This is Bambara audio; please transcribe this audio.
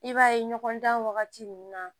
I b'a ye ɲɔgɔn dan wagati mun na